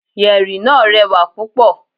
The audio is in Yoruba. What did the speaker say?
Yẹ̀rì náà rẹwà púpọ̀.